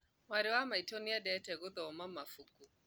Mwarĩ wa maitũ nĩendete gũthoma mabuku